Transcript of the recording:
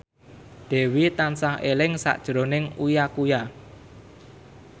Dewi tansah eling sakjroning Uya Kuya